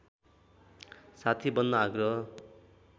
साथी बन्न आग्रह